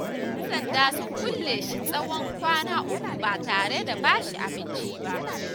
Yan sanda sun kulle shi tsawon kwana uku ba tare da ba shi abinci ba.